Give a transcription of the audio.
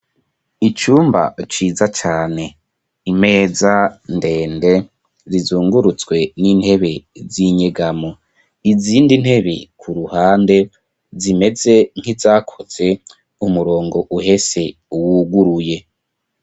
Icumba ciza cane imeza ndende rizungurutswe n'intebe z'inyegamo. Izindi ntebe ku ruhande zimeze nk'izakoze umurongo uhese wuguruye.